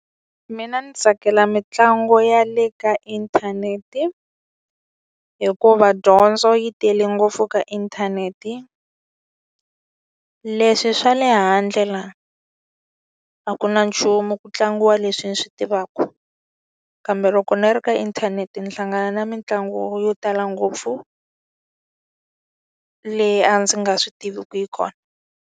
Mina ndzi tsakela mitlangu ya le ka inthanete, hikuva dyondzo yi tele ngopfu ka inthanete. Leswi swa le handle la, a ku na nchumu ku tlangiwa leswi ni swi tivaka. Kambe loko ni ri ka inthanete ni hlangana na mitlangu yo tala ngopfu, leyi a ndzi nga swi tiviku yi kona.